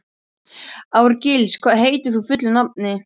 Árgils, hvað heitir þú fullu nafni?